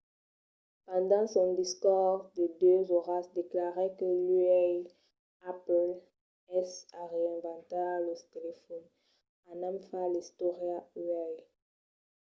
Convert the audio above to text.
pendent son discors de 2 oras declarèt que uèi apple es a reinventar lo telefòn anam far l'istòria uèi